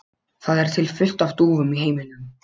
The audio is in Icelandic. Það er til fullt af dúfum í heiminum.